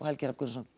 Helgi Hrafn Gunnarsson